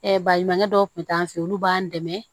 baɲumankɛ dɔw tun t'an fɛ yen olu b'an dɛmɛ